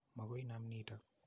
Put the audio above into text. Makoi inam notok.